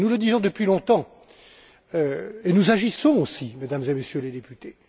Nous le disons depuis longtemps et nous agissons aussi, Mesdames et Messieurs les députés.